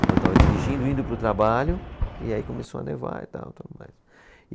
Então eu estava dirigindo, indo para o trabalho, e aí começou a nevar e tal. Tudo mais